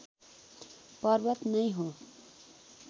पर्वत नै हो